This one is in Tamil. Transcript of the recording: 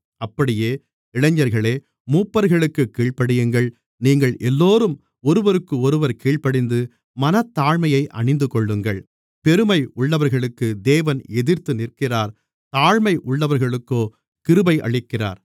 அப்படியே இளைஞர்களே மூப்பர்களுக்குக் கீழ்ப்படியுங்கள் நீங்கள் எல்லோரும் ஒருவருக்கொருவர் கீழ்ப்படிந்து மனத்தாழ்மையை அணிந்துகொள்ளுங்கள் பெருமை உள்ளவர்களுக்கு தேவன் எதிர்த்து நிற்கிறார் தாழ்மை உள்ளவர்களுக்கோ கிருபை அளிக்கிறார்